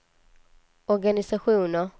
organisationer